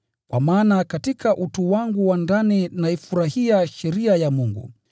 Kwa maana katika utu wangu wa ndani naifurahia sheria ya Mungu.